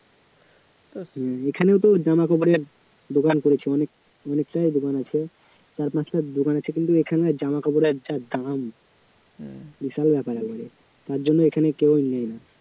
এখানে তো জামাকাপড়ের দোকান করেছে অনেক অনেকটাই দোকান আছে চার পাঁচটা দোকান আছে কিন্তু এখানে জামাকাপড়ের যা দাম বিশাল ব্যাপার একেবারে তার জন্য এখানে কেউ নেয় না